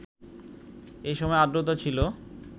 এসময় আর্দ্রতা ছিল